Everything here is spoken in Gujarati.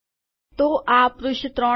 તો આ પૃષ્ઠ ૩માં છે